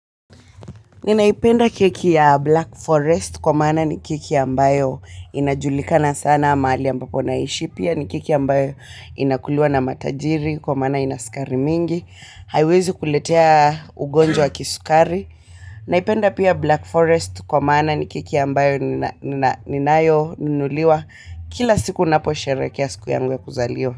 Ninaipenda keki ya Black Forest kwa maana ni keki ambayo inajulikana sana mahali ambapo naishi, pia ni keki ambayo inakuliwa na matajiri kwa maana haina sukari mingi, haiwezi kuletea ugonjwa wa kisukari. Naipenda pia Black Forest kwa maana ni keki ambayo ninayo nunuliwa kila siku ninapo sherehekea siku yangu ya kuzaliwa.